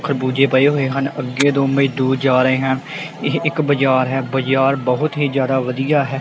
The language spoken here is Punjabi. ਖਰਬੂਜ਼ਜ ਪਏ ਹੋਏ ਹਨ ਅੱਗੇ ਦੋ ਮਜਦੂਰ ਜਾ ਰਹੇ ਹਨ ਇਹ ਇੱਕ ਬਾਜ਼ਾਰ ਹੈ ਬਾਜ਼ਾਰ ਬਹੁਤ ਹੀ ਜ਼ਿਆਦਾ ਵਧੀਆ ਹੈ।